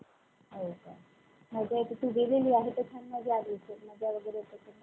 आणि नंतर रामाचं नवरात्र सुरु होतं या पाडव्यापासून. रामाला~ रामाचे वेगवेगळे भजनं, गीतं असे सगळे कार्यक्रम रचले जातात. रामनवमी पर्यंत, नंतर,